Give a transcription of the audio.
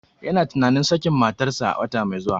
Yana tunanin sakin matarsa wata mai zuwa.